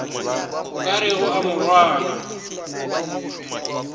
o ka rego a morwana